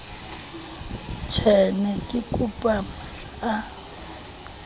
tjhee ke ne kekopa matlaa